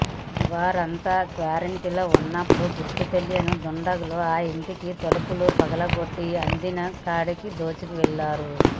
వారంతా క్వారంటైన్లో ఉన్నప్పుడు గుర్తుతెలియని దుండగులు ఆ ఇంటి తలుపులు పగులగొట్టి అందిన కాడికి దోచుకెళ్లారు